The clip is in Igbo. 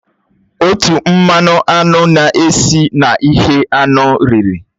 Útọ̀ mmanụ aṅụ na-esi na ihe anụ riri